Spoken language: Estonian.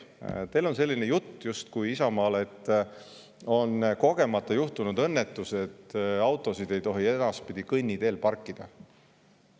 Teil, Isamaal, on selline jutt, justkui kogemata on juhtunud õnnetus, et autosid ei tohi edaspidi kõnniteel parkida.